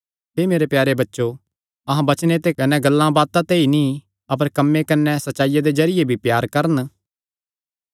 हे मेरे प्यारे बच्चो अहां वचने ते कने गल्लांबातां ते ई नीं अपर कम्मे कने सच्चाईया दे जरिये भी प्यार करन